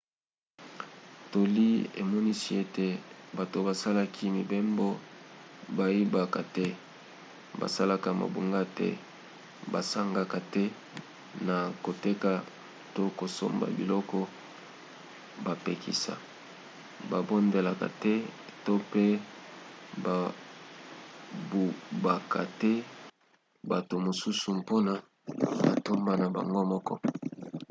toli emonisi ete bato basalaki mibembo bayibaka te basalaka mabunga te basangaka te na koteka to kosomba biloko bapekisa babondelaka te to mpe babubaka te bato mosusu mpona matomba na bango moko